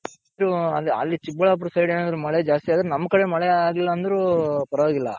ಅಲ್ಲಿ ಚಿಕ್ಕಬಳ್ಳಾಪುರ side ಏನಾದ್ರು ಮಳೆ ಜಾಸ್ತಿ ಆದ್ರೆ ನಮ್ ಕಡೆ ಮಳೆ ಆಗಿಲ್ಲ ಅಂದ್ರು ಪರವಾಗಿಲ್ಲ.